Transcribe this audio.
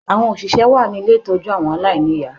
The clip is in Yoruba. Àwọn oṣìṣẹ́ wà ní ilé ìtọ́jú àwọn ilé aláìníìyá